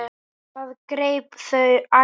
Það greip þau æði.